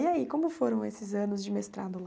E aí, como foram esses anos de mestrado lá?